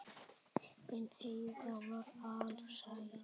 En Heiða var alsæl.